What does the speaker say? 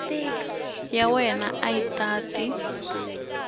ya wena a yi tate